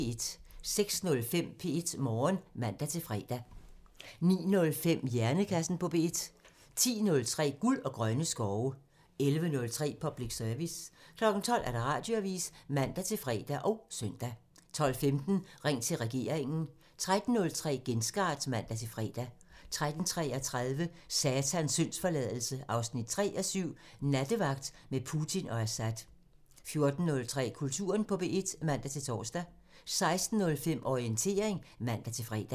06:05: P1 Morgen (man-fre) 09:05: Hjernekassen på P1 (man) 10:03: Guld og grønne skove (man) 11:03: Public Service (man) 12:00: Radioavisen (man-fre og søn) 12:15: Ring til regeringen (man) 13:03: Genstart (man-fre) 13:33: Satans syndsforladelse 3:7 – Nattevagt med Putin og Assad 14:03: Kulturen på P1 (man-tor) 16:05: Orientering (man-fre)